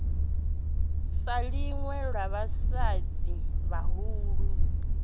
sa ḽinwe ḽa vhafhaṱi vhahulu